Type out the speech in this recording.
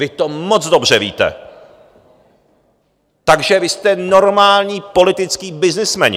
Vy to moc dobře víte, takže vy jste normální političtí byznysmeni.